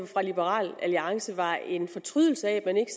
for liberal alliance mere var en fortrydelse af at man ikke